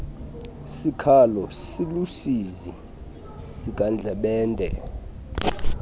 sikhalo siluusizi sikandlebende